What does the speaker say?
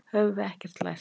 Höfum við ekkert lært?